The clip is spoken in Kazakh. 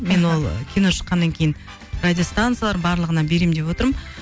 мен ол кино шыққаннан кейін радиостанциялар барлығына беремін деп отырмын